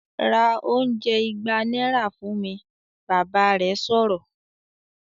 "Ra oúnjẹ ìgbà náírà fún mi!", Bàbá rẹ̀ sọ̀rọ̀